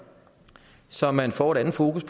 så man får et andet fokus